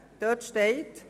Dort soll stehen: